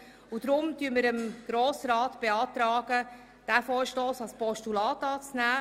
Darum beantragen wir dem Grossen Rat, diesen Vorstoss als Postulat anzunehmen.